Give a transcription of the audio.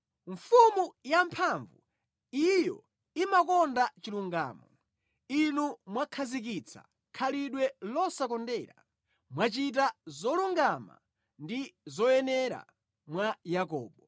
Mfumu yamphamvu, iyo imakonda chilungamo Inu mwakhazikitsa khalidwe losakondera; mwachita zolungama ndi zoyenera mwa Yakobo.